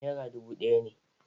Nera dubu ɗaya ne.